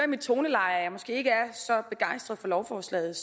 mit toneleje at jeg ikke er så begejstret for lovforslaget